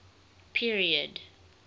period